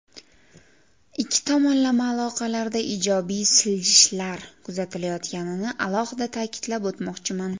Ikki tomonlama aloqalarda ijobiy siljishlar kuzatilayotganini alohida ta’kidlab o‘tmoqchiman.